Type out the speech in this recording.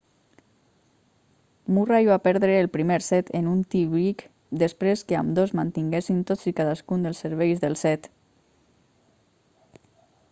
murray va perdre el primer set en un tie break després que ambdós mantinguessin tots i cadascun dels serveis del set